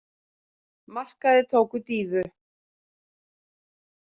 Markaðir tóku dýfu